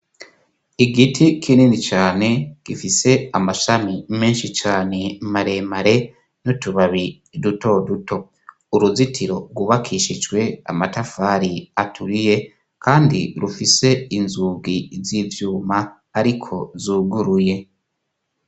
Igiti kinini cane gifise amashami menshi cane maremare n'utubabi duto duto. Uruzitiro rwubakishijwe amatafari aturiye kandi rufise inzugi z'ivyuma ariko zuguruye.